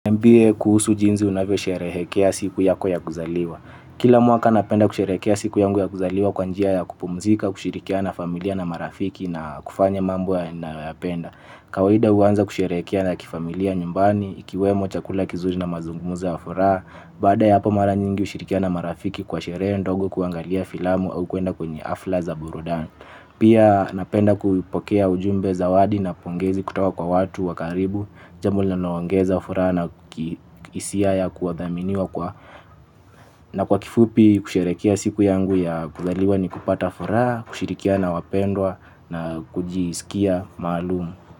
Niambie kuhusu jinzi unavio sherehekea siku yako ya kuzaliwa. Kila mwaka napenda kusherekea siku yangu ya kuzaliwa kwa njia ya kupumzika, kushirikiana familia na marafiki na kufanya mambo yanayoyapenda. Kawahida uwanza kusherekea na kifamilia nyumbani, ikiwemo chakula kizuri na mazungumuzo ya furaha. Bada ya hapa mara nyingi ushirikiana marafiki kwa sherehe ndogo kuangalia filamu au kuenda kwenye afla za burudani. Pia napenda kuipokea ujumbe zawadi na pongezi kutoka kwa watu wa karibu. Jambo linaloongeza furaha na hisia ya kudhaminiwa kwa na kwa kifupi kusherehekea siku yangu ya kuzaliwa ni kupata furaha. Kushirikiana wapendwa na kujisikia maalumu.